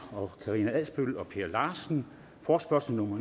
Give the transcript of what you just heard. karina adsbøl og per larsen forespørgsel nummer